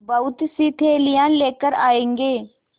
बहुतसी थैलियाँ लेकर आएँगे